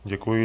Děkuji.